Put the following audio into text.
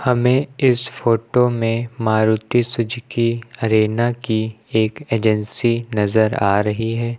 हमें इस फोटो में मारुति सुजुकी अरेना की एक एजेंसी नजर आ रही है।